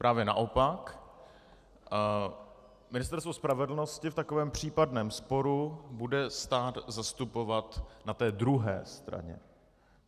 Právě naopak, Ministerstvo spravedlnosti v takovém případném sporu bude stát zastupovat na té druhé straně.